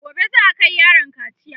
gobe za'a Kai yaron kaciya